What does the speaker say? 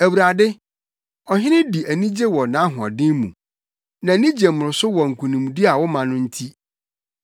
Awurade, ɔhene di anigye wɔ wʼahoɔden mu. Nʼani gye mmoroso wɔ nkonimdi a woma no nti!